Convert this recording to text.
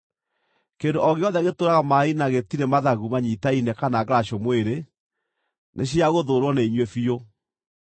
Kĩndũ o gĩothe gĩtũũraga maaĩ-inĩ na gĩtirĩ mathagu manyiitaine kana ngaracũ mwĩrĩ, nĩciagũthũũrwo nĩ inyuĩ biũ.